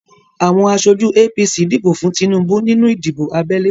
Awọn aṣojú APC dìbò fún Tinubu nínú ìdìbò abẹ́lé.